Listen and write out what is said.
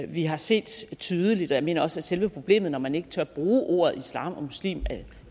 vi har set tydeligt og jeg mener også at selve problemet når man ikke tør bruge ordet islam og muslim